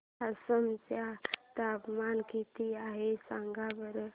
आसाम चे तापमान किती आहे सांगा बरं